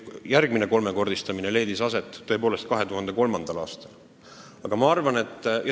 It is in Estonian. Järgmine kolmekordistamine leidis aset tõepoolest 2003. aastal.